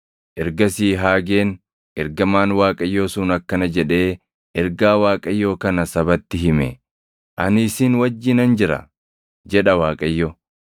Ergasii Haageen ergamaan Waaqayyoo sun akkana jedhee ergaa Waaqayyoo kana sabatti hime: “Ani isin wajjinan jira” jedha Waaqayyo.